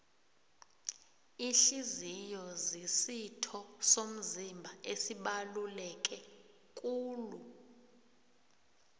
ihliziyo zisitho somzimba esibaluleke kulu